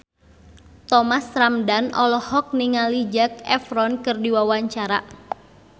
Thomas Ramdhan olohok ningali Zac Efron keur diwawancara